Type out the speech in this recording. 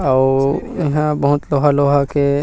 अउ इहा बहुत लोहा लोहा के --